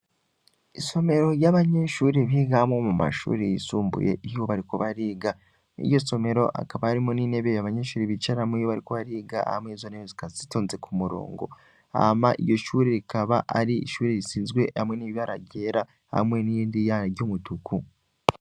Isomero ry'abanyenshuri bigamwo mu mashuri yisumbuye ihubarikobariga iyo somero akaba arimo n'ine beye abanyenshuri bicaramwo yiba, ariko bariga ama y'izona yesikasitonze ku murongo ama iyo shuri rikaba ari ishuri risinzwe hamwe n'ibibararyera hamwe n'iyondi yana ry'umutuku.